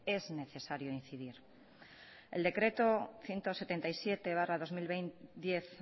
es necesario incidir el decreto ciento setenta y siete barra dos mil diez